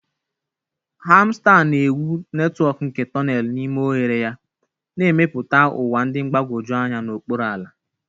Hamster ga-ewu netwọk nke tonelu n'ime oghere ya, na-emepụta ụwa dị mgbagwoju anya n'okpuru ala.